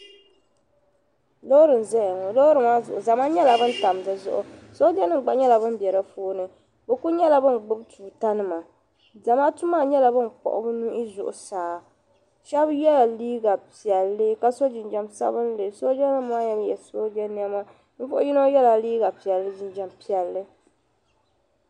Loori n zaya ŋɔ loori maa zuɣu zama nyela ban tam di zuɣu soojanim gba biɛ di puuni bɛ kuli nyela bin gbubi tuutanima zamaatu maa nyela ban kpuhi bi nuhi zuɣu saa shɛb yela liiga piɛlli ka so jinjam sabinli ka soojanim maa ye sooje nɛma shɛb yela liiga piɛlli ni jinjam piɛlli.